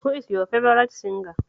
Who is your favourite singer?